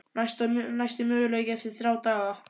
Næsti möguleiki er eftir þrjá daga.